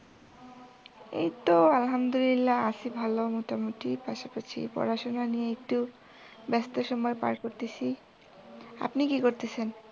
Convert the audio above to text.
এই তো আলহামদুলিল্লাহ্‌ আছি ভালো মোটামুটি পাশাপাশি পড়াশুনা নিয়ে একটু ব্যাস্ত সময় পার করতেছি। আপনি কি করতেছেন?